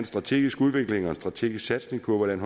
strategisk udvikling og en strategisk satsning på hvordan